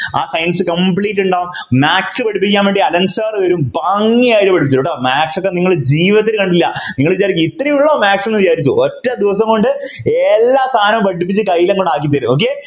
ആ Science ഉണ്ടാവും Maths പഠിപ്പിക്കാൻ വേണ്ടി അലൻ Sir വരും ഭംഗിയായിട്ട് പഠിപ്പിക്കും കേട്ടോ Maths നിങ്ങൾ ജീവിതത്തിൽ കണ്ടിട്ടില്ല നിങ്ങൾ വിചാരിക്കും ഇത്രയേ ഉള്ളൂ Maths എന്ന് വിചാരിച്ചു പോകും ഒറ്റ ദിവസം കൊണ്ട് എല്ലാ സാധനവും പഠിപ്പിച്ചു കയ്യിൽ അങ്ങോട്ട് ആക്കി തരും okay